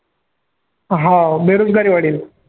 हाव बेरोजगारी वाढेल.